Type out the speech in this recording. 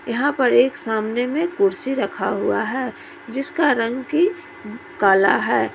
यहां पर एक सामने में कुर्सी रखा हुआ है जिसका रंग कि काला है।